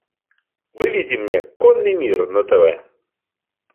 выведи мне конный мир на тв